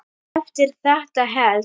En eftir þetta hélt